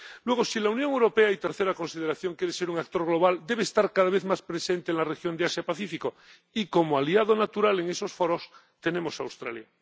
Luego, si la Unión Europea —tercera consideración— quiere ser un actor global, debe estar cada vez más presente en la región de Asia Pacífico, y como aliado natural en esos foros tenemos a Australia.